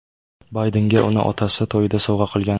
Baydenga uni otasi to‘yida sovg‘a qilgan.